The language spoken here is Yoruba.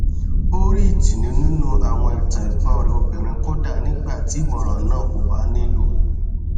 ó rí ìtùnú nínú àwọn ìtàn ẹgbọn rẹ obìnrin kódà nígbà tí ìmọràn náà kò bá nílò